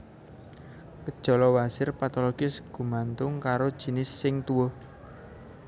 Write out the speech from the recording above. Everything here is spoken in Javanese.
Gejala wasir patologis gumantung karo jinis sing tuwuh